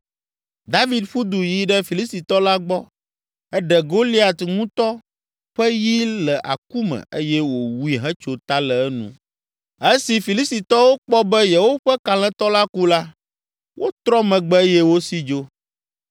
David ƒu du yi ɖe Filistitɔ la gbɔ, eɖe Goliat ŋutɔ ƒe yi le aku me eye wòwui hetso ta le enu. Esi Filistitɔwo kpɔ be yewoƒe kalẽtɔ la ku la, wotrɔ megbe eye wosi dzo.